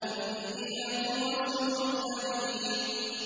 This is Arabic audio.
إِنِّي لَكُمْ رَسُولٌ أَمِينٌ